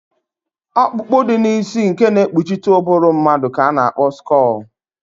Ọkpụkpụ dị n'isi nke na-ekpuchite ụbụrụ mmadụ ka a kpọrọ skọọl